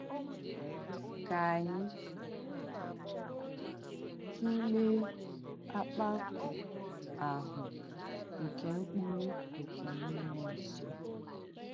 Kà ànyị̣ tùleè ákpàkù āhụ̀ nké m̀kpùrù nké m̀múọ̀ ǹsọ̀.